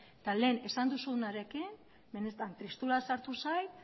eta lehen esan duzunarekin benetan tristura sartu zait